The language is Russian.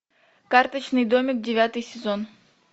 карточный домик девятый сезон